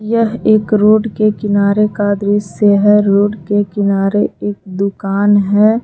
यह एक रोड के किनारे का दृश्य है रोड के किनारे एक दुकान है।